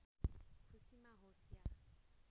खुसीमा होस् या